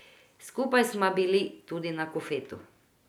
Skupaj sva bili tudi na kofetu.